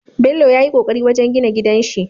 Bello yayi ƙoƙari wajan gina gidanshi